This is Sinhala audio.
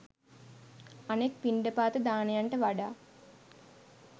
අනෙක් පිණ්ඩපාත දානයන්ට වඩා